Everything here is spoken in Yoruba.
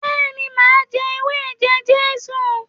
beeni, ma je ewé eje-Jesu